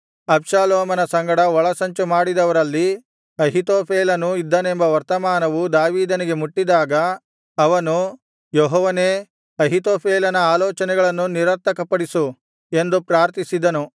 ಅಬ್ಷಾಲೋಮನ ಸಂಗಡ ಒಳಸಂಚು ಮಾಡಿದವರಲ್ಲಿ ಅಹೀತೋಫೆಲನೂ ಇದ್ದಾನೆಂಬ ವರ್ತಮಾನವು ದಾವೀದನಿಗೆ ಮುಟ್ಟಿದಾಗ ಅವನು ಯೆಹೋವನೇ ಅಹೀತೋಫೆಲನ ಆಲೋಚನೆಗಳನ್ನು ನಿರರ್ಥಕಪಡಿಸು ಎಂದು ಪ್ರಾರ್ಥಿಸಿದನು